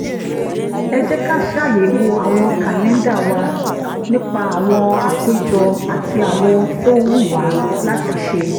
ẹ jẹ́ ká ṣàyẹ̀wò àwọn kàlẹ́ńdà wa nípa àwọn àpéjọ àti àwọn ohun tó wù wá láti ṣe